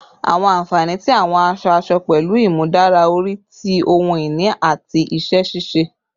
Awọn anfani ti awọn aṣọ-aṣọ pẹlu imudara ori ti ohun ini ati iṣẹ-ṣiṣe